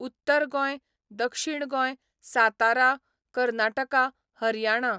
उत्तर गोंय, दक्षिण गोंय, सातारा, कर्नाटका, हरयाणा.